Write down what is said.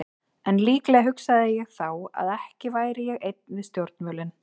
En líklega hugsaði ég þá að ekki væri ég einn við stjórnvölinn.